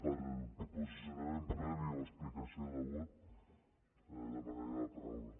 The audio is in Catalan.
per posicionament previ o explicació de vot demanaria la paraula